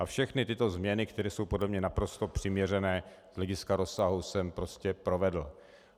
A všechny tyto změny, které jsou podle mě naprosto přiměřené z hlediska rozsahu, jsem prostě provedl.